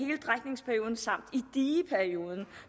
dieperioden